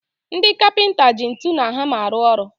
Ndị kapịnta ji ntụ na hama arụ ọrụ